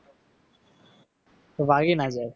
વાગી ના જાય.